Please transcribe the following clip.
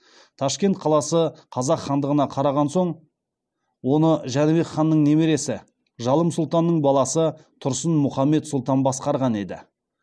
ташкент қаласы қазақ хандығына қараған соң оны жәнібек ханның немересі жалым сұлтанның баласы тұрсын мұхаммед сұлтан басқарған еді